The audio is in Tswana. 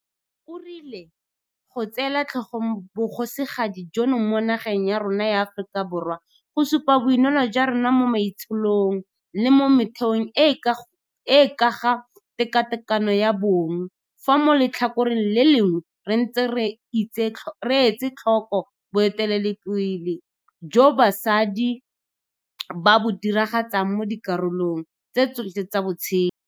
O rile go tseela tlhogong Bogosigadi jono mo nageng ya rona ya Aforika Borwa go supa boineelo jwa rona mo maitsholong le mo metheong e e ka ga tekatekano ya bong, fa mo letlhakoreng le lengwe re ntse re etsetlhoko boeteledipele joo basadi ba bo diragatsang mo dikarolong tse tsotlhe tsa botshelo.